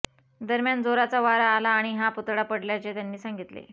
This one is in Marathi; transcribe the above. दरम्यान जोराचा वारा आला आणि हा पुतळा पडल्याचे त्यांनी सांगितले